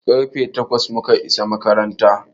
Karfe takwas mu ka isa makaranta.